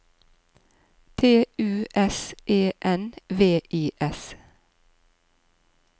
T U S E N V I S